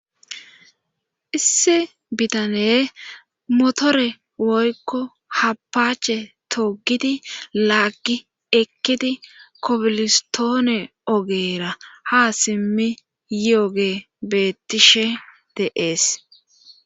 issi bitane motore woykko happaache togidi laaggi ekkidi kopolistoone ogeera ha simmi yioge bettishe de7ees